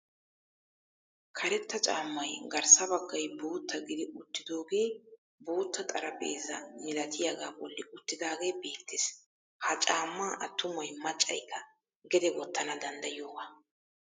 Karetta caammay garssa baggay bootta gidi uttidoogee bootta xaraphpheezza milatiyagaa bolli uttidaagee beettees. Ha caammaa attumay maccaykka gede wottana danddayiyogaa.